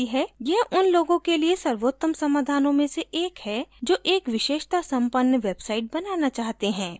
यह उन लोगों के लिए सर्वोत्तम समाधानों में से एक है जो एक विशेषता संपन्न website बनाना चाहते हैं